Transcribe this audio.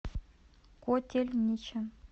котельничем